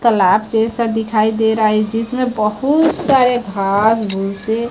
तलाब जैसा दिखाई दे रहा है जिसमें बहुत सारे घास भूसे--